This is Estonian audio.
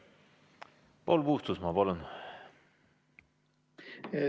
Paul Puustusmaa, palun!